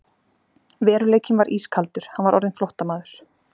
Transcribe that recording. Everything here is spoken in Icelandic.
Hvað er vitað í heiminum?